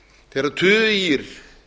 þegar tugir